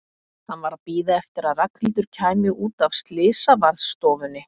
Hann var að bíða eftir að Ragnhildur kæmi út af slysavarðstofunni.